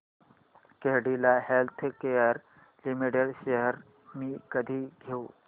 Cadila healthcare limited shares मी कधी घेऊ